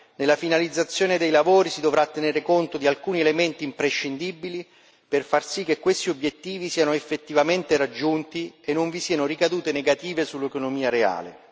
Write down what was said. nella finalizzazione dei lavori si dovrà tenere conto di alcuni elementi imprescindibili, per far sì che questi obiettivi siano effettivamente raggiunti e non vi siano ricadute negative sull'economia reale.